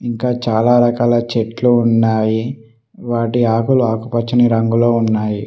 ఇంకా చాలా రకాల చెట్లు ఉన్నావి వాటి ఆకులు ఆకుపచ్చని రంగులో ఉన్నాయి.